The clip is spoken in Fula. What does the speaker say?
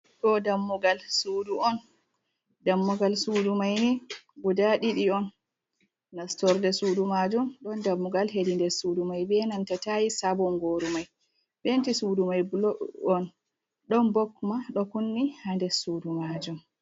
Ɗo dammugal sudu on, dammugal sudu mai ni guda ɗiɗi on, nastorde sudu majum ɗon dammugal hedi nder sudu mai benanta tais bongoru mai, penti sudu mai bulu on, ɗon bob ɗo kunni hander sudu majum.